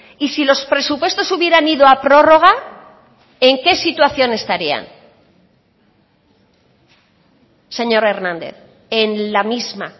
y si los presupuestos hubieran ido a prórroga en qué situación estarían señor hernández en la misma